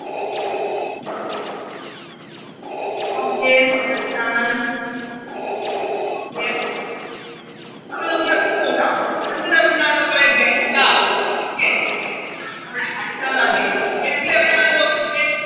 Okay set ആണ് Okay അപ്പൊ നമുക്ക് അടുത്തത് നോക്കാം അടുത്തതെന്താണ് മക്കളെ ഗംഗ Okay ആണ് നമ്മുടെ അടുത്ത നദി ഗംഗ എവിടെയാണ് നോക്കിക്കേ